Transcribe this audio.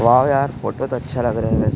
wow यार photo तो अच्छा लग रहा है वेसे--